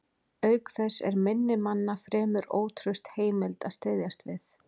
Auk þess er minni manna fremur ótraust heimild að styðjast við.